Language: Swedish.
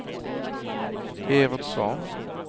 Evert Svahn